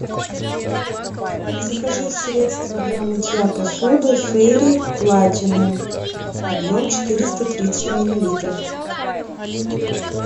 закажи средство для мытья посуды фейри платинум объем четыреста тридцать миллилитров